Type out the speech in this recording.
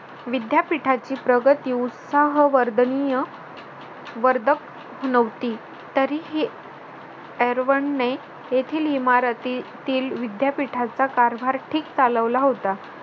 विद्यापीठाची प्रगती उत्साह वर्दनीय वर्धक नव्हती. तरीही ने येथील इमारतीतील विद्यापीठाचा कारभार चालवला होता.